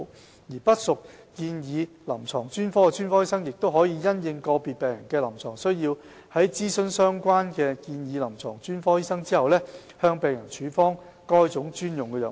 至於不屬建議臨床專科的專科醫生，亦可因應個別病人的臨床需要，在諮詢相關的建議臨床專科醫生後，向病人處方該專用藥物。